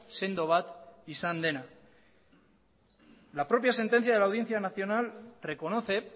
sendo bat izan dena la propia sentencia de la audiencia nacional reconoce